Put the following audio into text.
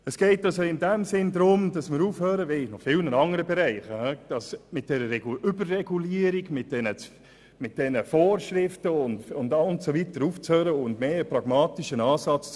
Es geht, wie auch an vielen andern Stellen, um eine Eindämmung der Vorschriften und Regulierungen zugunsten eines pragmatischen Ansatzes.